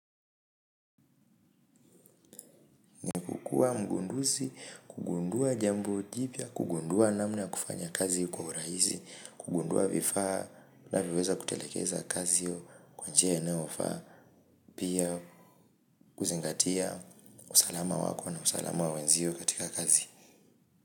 Kuwa mgunduzi, kugundua jambo jipya, kugundua namna ya kufanya kazi kwa urahisi, kugundua vifaa vinavyo weza kutelekeza kazi hiyo kwa njia inayo faa. Pia kuzingatia usalama wako na usalama wa wenzio katika kazi.